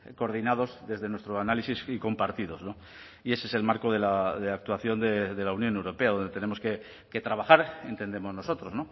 coordinados desde nuestro análisis y compartidos y ese es el marco de la actuación de la unión europea donde tenemos que trabajar entendemos nosotros